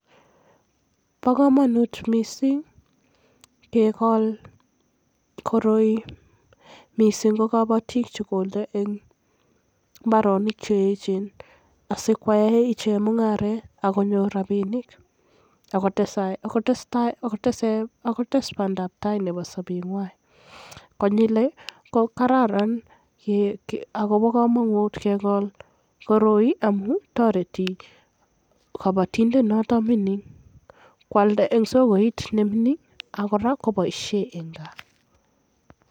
Bo kamanut missing' kegol koroi missing' ko kobotik konde mbaronik cheyechen asikoyae ichek mung'aret akonyor rapinik akotes bandaptai nebo sobengwai ako toreti kobotindet noton nemining' koldai en sokoit ak kora koboisie en kaa.